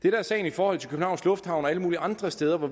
er sagen i forhold til københavns lufthavn og alle mulige andre steder hvor